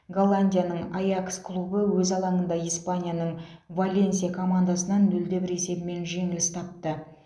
голландияның аякс клубы өз алаңында испанияның валенсия командасынан нөл де бір есебімен жеңіліс тапты